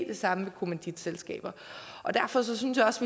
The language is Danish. det samme med kommanditselskaber og derfor synes jeg også